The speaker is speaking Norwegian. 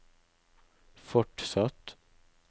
fortsatt